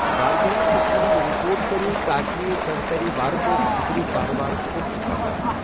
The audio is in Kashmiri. وارِیاہن قٕسمن ہندِ رپوٹ پرٕیو تاكہِ توہہہِ ترِ وارٕ پٲٹھۍ فِكری كاربار كو٘ت چُھ پكان ۔